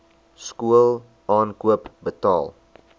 skool aankoop betaal